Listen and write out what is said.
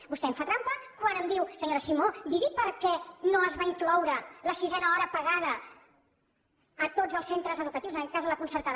vostè em fa trampa quan em diu senyora simó digui per què no es va incloure la sisena hora pagada a tots els centres educatius en aquest cas a la concertada